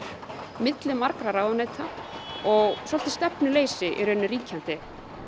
milli margra ráðuneyta og svolítið stefnuleysi ríkjandi